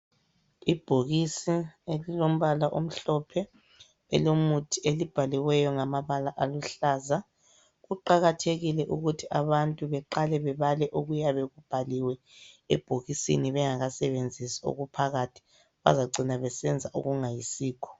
Ibhokisi elilombala omhlophe elomuthi, elibhaliweyo ngamabala aluhlaza. Kuqakathekile ukuthi abantu beqale bebale okuyabe kubhaliwe ebhokisini bengakasebezisi okuphakathi. Bazagcina besenza okungayisikho.